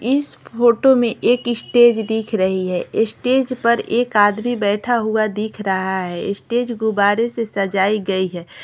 इस फोटो में एक स्टेज दिख रही है स्टेज पर एक आदमी बैठा हुआ दिख रहा है स्टेज गुब्बारे से सजाई गई है --